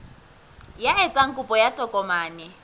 ya etsang kopo ya tokomane